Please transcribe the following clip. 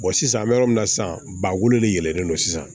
sisan an bɛ yɔrɔ min na sisan ba wolo de yɛlɛnnen don sisan